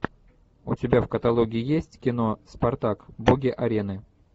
у тебя в каталоге есть кино спартак боги арены